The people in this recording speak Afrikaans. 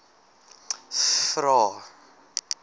vvvvrae